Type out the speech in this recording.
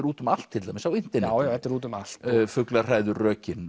út um allt til dæmis á internetinu já þetta er út um allt